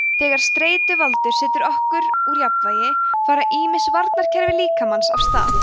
þegar streituvaldur setur okkur úr jafnvægi fara ýmis varnarkerfi líkamans af stað